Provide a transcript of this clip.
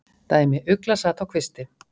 Dæmi: Ugla sat á kvisti.